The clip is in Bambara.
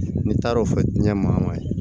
Ne taar'o fɔ diɲɛ ma ye